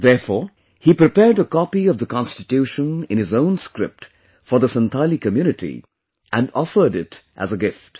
Therefore, he prepared a copy of the constitution in his own script for the Santhali community and offered it as a gift